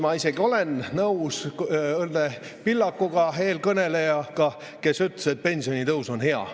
Ma isegi olen nõus Õnne Pillakuga, eelkõnelejaga, kes ütles, et pensionitõus on hea.